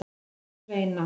Sveina